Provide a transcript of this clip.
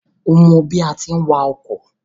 O mọ bí àá ti wa ọkọ̀?